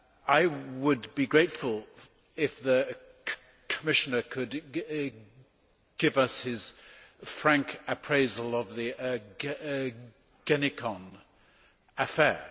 I would be grateful if the Commissioner could give us his frank appraisal of the Ergenekon affair.